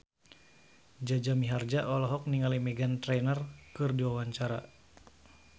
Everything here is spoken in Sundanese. Jaja Mihardja olohok ningali Meghan Trainor keur diwawancara